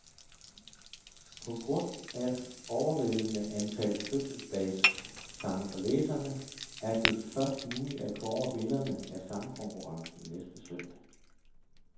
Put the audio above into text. På grund af overvældende antal fødselsdagssange fra læserne, er det først muligt at kåre vinderne af sangkonkurrencen næste søndag.